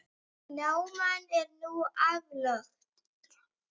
Náman er nú aflögð.